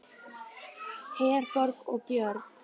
Herborg og Björn.